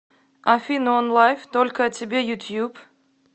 афина онлайф только о тебе ютуб